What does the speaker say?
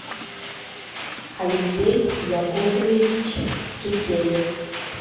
алексей яковлевич кекеев